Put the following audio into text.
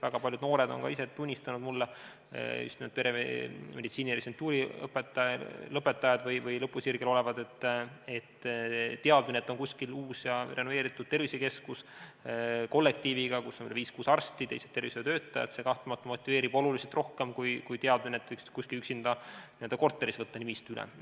Väga paljud noored, just nimelt peremeditsiini residentuuri lõpetajad või lõpusirgel olijad on ka ise mulle tunnistanud: teadmine sellest, et kuskil on uus renoveeritud tervisekeskus kollektiiviga, kus on viis-kuus arsti ja teised tervishoiutöötajad, kahtlemata motiveerib oluliselt rohkem kui võimalus võtta kuskil n-ö korteris üksinda nimistu üle.